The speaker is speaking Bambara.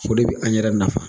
O de bɛ an yɛrɛ nafa